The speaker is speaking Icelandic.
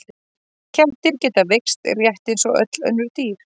Kettir geta veikst rétt eins og öll önnur dýr.